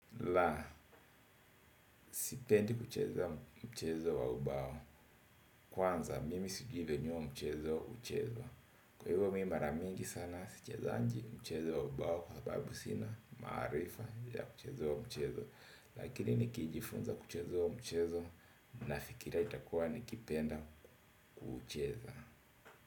La, sipendi kucheza mchezo wa ubao kwanza, mimi sijui venye huo mchezo uchezwa kwa hivyo mi maramingi sana, sichezangi mchezo wa ubao kwa sababu sina maarifa ya mchezo wa mchezo lakini nikijifunza kucheza huo mchezo na fikiria itakua nikipenda kucheza.